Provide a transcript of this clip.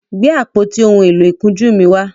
Gbe àpótí òún èló ìkunjú mí wá!